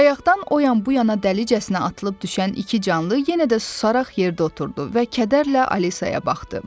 Bayaqdan o yan-bu yana dəlicəsinə atılıb düşən iki canlı yenə də susaraq yerdə oturdu və kədərlə Alisaya baxdı.